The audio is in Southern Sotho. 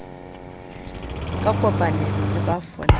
ka kopanelo le ba folang